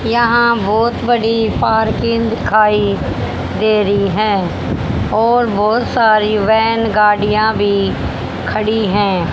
यहां बहोत बड़ी पार्किंग दिखाई दे रही है और बहोत सारी वैन गाड़ियां भी खड़ी है।